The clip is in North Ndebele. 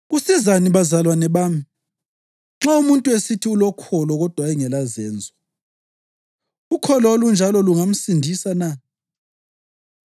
Kusizani bazalwane bami, nxa umuntu esithi ulokholo kodwa engelazenzo? Ukholo olunjalo lungamsindisa na?